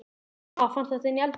Ha! Fannstu þetta inni í eldhúsi?